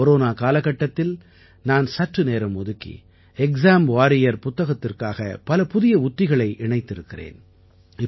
இந்தக் கொரோனா காலகட்டத்தில் நான் சற்று நேரம் ஒதுக்கி எக்ஸாம் வாரியர் புத்தகத்திற்காக பல புதிய உத்திகளை இணைத்திருக்கிறேன்